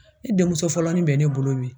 Ne denmuso fɔlɔ ni bɛ ne bolo me.